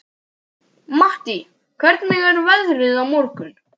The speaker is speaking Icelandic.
Mattý, hvernig er veðrið á morgun?